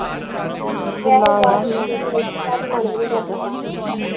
ਬਾਦ ਚ ਮੰਨ ਵੀ ਨੀ ਕਰਦਾ ਖਾਣ ਨੂੰ